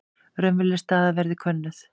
Raunveruleg staða verði könnuð